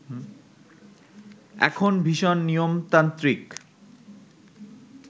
এখন ভীষণ নিয়মতান্ত্রিক